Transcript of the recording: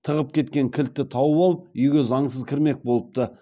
тығып кеткен кілтті тауып алып үйге заңсыз кірмек болыпты